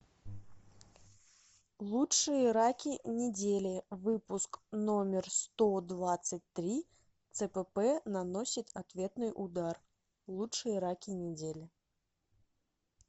лучшие раки недели выпуск номер сто двадцать три цпп наносит ответный удар лучшие раки недели